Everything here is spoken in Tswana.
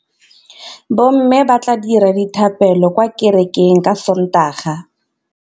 Bommê ba tla dira dithapêlô kwa kerekeng ka Sontaga.